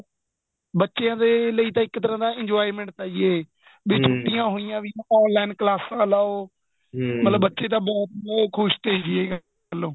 ਬੱਚਿਆਂ ਦੇ ਲਈ ਤਾਂ ਇੱਕ ਤਰ੍ਹਾਂ ਦਾ enjoyment ਤਾਂ ਏ ਵੀ ਛੁੱਟੀਆਂ ਹੋਈਆ online ਕਲਾਸਾਂ ਲਾਓ ਮਤਲਬ ਬੱਚੇ ਤਾਂ ਬਹੁਤ ਤਾਂ ਖ਼ੁਸ਼ ਤੇ ਏ ਗੱਲੋ